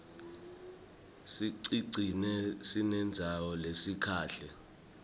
sicigcine sinesisindvo lesikahle